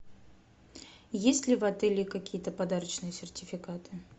есть ли в отеле какие то подарочные сертификаты